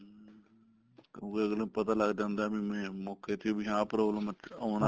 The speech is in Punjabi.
ਵੀ ਅੱਗਲੇ ਨੂੰ ਪਤਾ ਲੱਗਦਾ ਹੁੰਦਾ ਵੀ ਮੋਕੇ ਤੇ ਵੀ ਆਹ problem ਆਉਣ ਵਾਲੀ